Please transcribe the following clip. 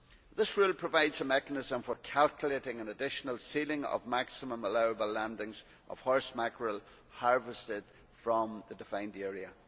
This rule provides a mechanism for calculating an additional ceiling of maximum allowable landings of horse mackerel harvested from the defined area.